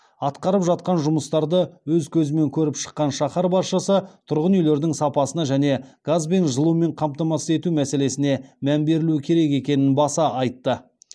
атқарып жатқан жұмыстарды өз көзімен көріп шыққан шаһар басшысы тұрғын үйлердің сапасына және газбен жылумен қамтамасыз ету мәселесіне мән берілу керек екенін баса айтты